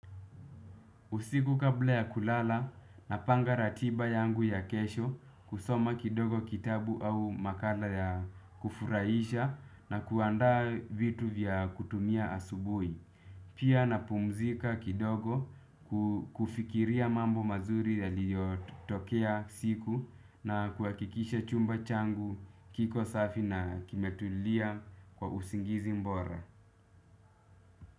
Usiku kabla ya kulala napanga ratiba yangu ya kesho, kusoma kidogo kitabu au makala ya kufurahisha na kuandaa vitu vya kutumia asubuhi. Pia napumzika kidogo, kufikiria mambo mazuri yaliyotokea siku na kuhakikisha chumba changu kiko safi na kimetulia kwa usingizi bora.